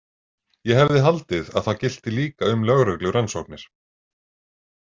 Ég hefði haldið að það gilti líka um lögreglurannsóknir.